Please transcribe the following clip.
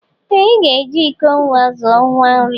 Ee ị ga-eji iko nwa zụọ nwa nri